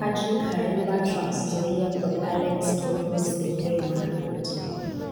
Patrick Khaemba (Trans Nzoia) kod Alex Tolgos (Elgeyo Marakwet).